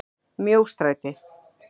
Mjóstræti